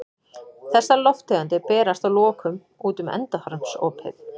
Þessar lofttegundir berast að lokum út um endaþarmsopið.